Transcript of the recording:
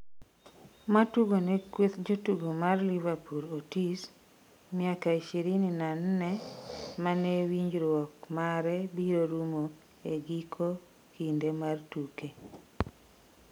matugo ne kweth jotugo mar liverpool Otis ,miaka ishirini na nne mane winjruok mare biro rumo e giko kindeni mar tuke